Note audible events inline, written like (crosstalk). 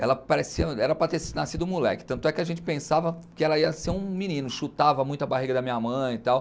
Ela (unintelligible) era para ter nascido moleque, tanto é que a gente pensava que ela ia ser um menino, chutava muito a barriga da minha mãe e tal.